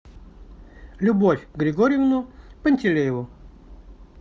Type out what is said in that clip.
любовь григорьевну пантелееву